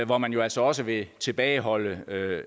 hvor man altså også vil tilbageholde